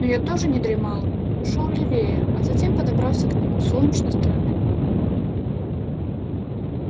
но я тоже не дремал ушёл левее а затем подобрался к нему с солнечной стороны